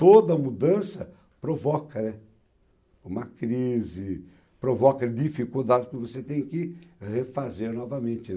Toda mudança provoca uma crise, provoca dificuldades que você tem que refazer novamente.